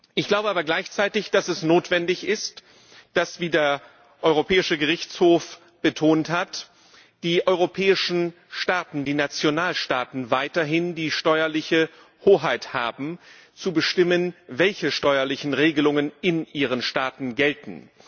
Ich glaube aber gleichzeitig, dass es notwendig ist, dass wie der Europäische Gerichtshof betont hat die europäischen Staaten, die Nationalstaaten, weiterhin die steuerliche Hoheit haben, zu bestimmen, welche steuerlichen Regelungen in ihren Staaten gelten.